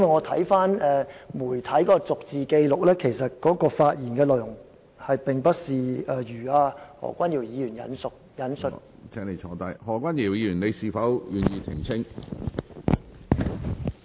我翻查過媒體的逐字紀錄，發現他的發言內容與何君堯議員所引述的不符。